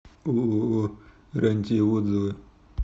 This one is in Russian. ооо рантье отзывы